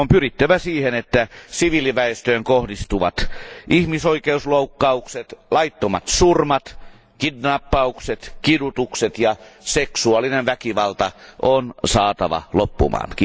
On pyrittävä siihen, että siviiliväestöön kohdistuvat ihmisoikeusloukkaukset, laittomat surmat, kidnappaukset, kidutukset ja seksuaalinen väkivalta on saatava loppumaan.